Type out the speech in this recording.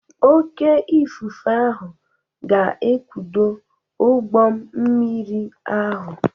Oké ifufe ahụ ga-ekpudo ụgbọ mmiri ahụ.